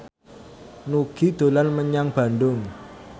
Nugie dolan menyang Bandung